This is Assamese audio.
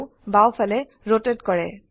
ভিউ বাওফালে ৰোটেট কৰে